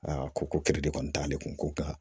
ko kɛlɛ de kɔni t'ale kun ko ka